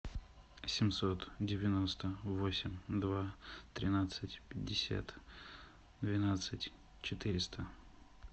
семьсот девяносто восемь два тринадцать пятьдесят двенадцать четыреста